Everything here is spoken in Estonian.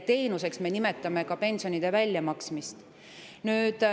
Teenuseks me nimetame ka pensionide väljamaksmist.